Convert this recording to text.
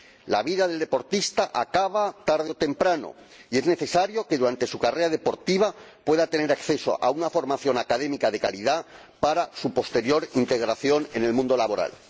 La vida del deportista acaba tarde o temprano, y es necesario que durante su carrera el deportista pueda tener acceso a una formación académica de calidad para su posterior integración en el mundo laboral.